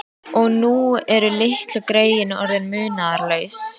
Og nú eru litlu greyin orðin munaðarlaus.